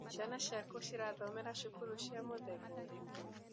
Ciana ciaku irathomera cukuru cia mũthemba ũrĩkũ?